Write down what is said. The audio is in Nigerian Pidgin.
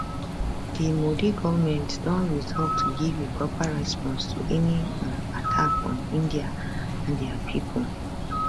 di modi goment don resolve to give a proper response to any um attack on india and dia pipo